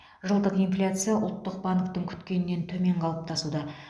жылдық инфляция ұлттық банктің күткенінен төмен қалыптасуда